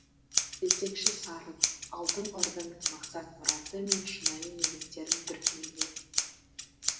жетекші сарын алтын орданың мақсат мұраты мен шынайы негіздерін бүркемелеу